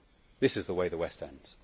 This is the way the West ends.